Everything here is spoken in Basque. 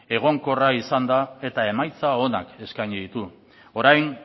egonkorra izanda eta emaitza onak eskaini ditu orain